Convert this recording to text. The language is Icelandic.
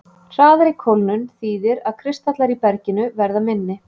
Hraðari kólnun þýðir að kristallar í berginu verða minni.